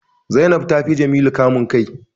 Zainab ta fi Jamilu kamun kai